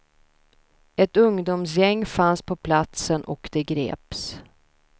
Ett ungdomsgäng fanns på platsen och de greps.